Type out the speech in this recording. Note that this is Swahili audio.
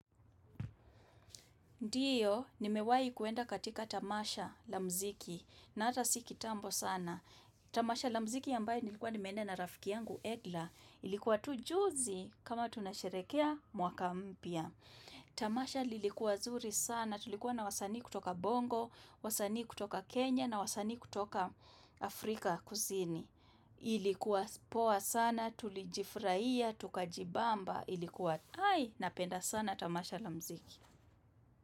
Ndio, nimewahi kuenda katika tamasha la muziki na hata si kitambo sana. Tamasha la muziki ambayo nilikuwa nimeenda na rafiki yangu, Edla, ilikuwa tu juzi kama tunasherehekea mwaka mpya. Tamasha lilikuwa zuri sana, tulikuwa na wasanii kutoka bongo, wasanii kutoka Kenya na wasanii kutoka Afrika kusini. Ilikuwa poa sana, tulijifurahia, tukajibamba, ilikuwa ai, napenda sana tamasha la muziki.